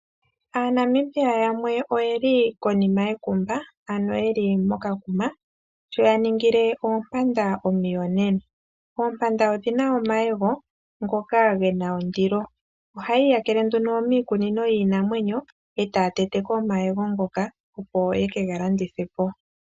AaNamibia yamwe oye li konima yekumba, ano ye li mokakuma, sho ya ningile oompanda omuyonena. Oompanda odhi na omayego ngoka ge na ondilo. Oha yi iyakele nduno miikunino yiinamwenyo , e taa tete ko omayego ngoka, opo yeke ga landithe po.